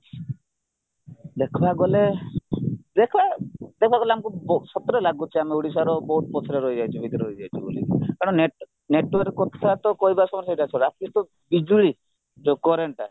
ଦେଖିବାକୁ ଗଲେ ଦେଖ ଦେଖାଗଲେ ଆମକୁ ସତରେ ଲାଗୁଚି ଆମେ ଓଡିଶାର ବହୁତ ପଛରେ ରହିଯାଇଛୁ ଭିତରେ ରହିଯାଇଛୁ ବୋଲି କାରଣ network କଥାତ କହିବାସମୟରେ ଛାଡ at least ତ ବିଜୁଳି ଯୋଉ currentଟା